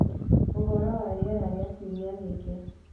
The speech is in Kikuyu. Ũhoro wa rĩera rĩa kiumia gĩkĩ